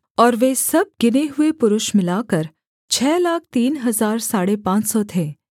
और वे सब गिने हुए पुरुष मिलाकर छः लाख तीन हजार साढ़े पाँच सौ थे